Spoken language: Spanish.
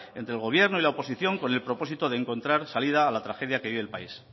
entre el gobierno y la oposición con el propósito de encontrar salida a la tragedia que vive el país